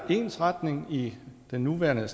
ensretning i den nuværende